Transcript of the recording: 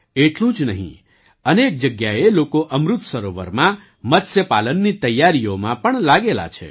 એટલું જ નહીં અનેક જગ્યાએ લોકો અમૃત સરોવરમાં મત્સ્ય પાલનની તૈયારીઓમાં પણ લાગેલા છે